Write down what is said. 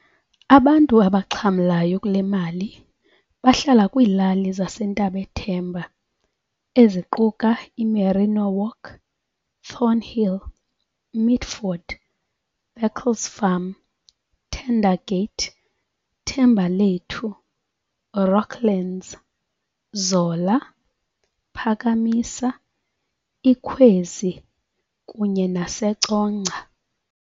Abantu abaxhamlayo kulemali bahlala kwilali zase Ntabethemba eziquka iMerino Walk, Thornhill, Mitford, Baclesfarm, Tentergate, Thembalethu, Rockland's, Zola, Phakamisa, Ikhwezi, kunye nase Congca